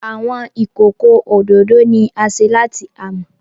Awọn ikoko ododo ni a ṣe lati amọ.